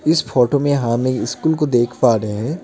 इस फोटो में हम यह स्कूल को देख पा रहे हैं।